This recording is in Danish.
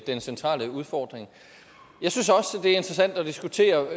den centrale udfordring jeg synes også det er interessant at diskutere